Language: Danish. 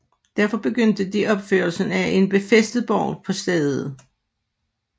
Derfor begyndte de opførelsen af en befæstet borg på stedet